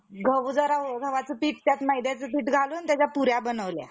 बाहेर काढले असेल. असे म्हणावे तर त्या मत्स्य मानवासारखे, बाळकाचा प्राण पाण्यात कसा वाचला असावा. कोणी कशी शंका घेईल,